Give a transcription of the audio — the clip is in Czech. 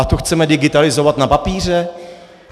A to chceme digitalizovat na papíře?